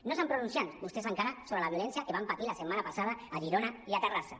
no s’han pronunciat vostès encara sobre la violència que vam patir la setmana passada a girona i a terrassa